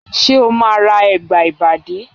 Ṣé o ma ra Ẹ̀gbà ìbàdí?